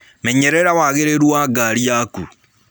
Menyerera wagĩrĩrũ wa ngarĩ yakũ.